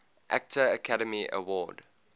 actor academy award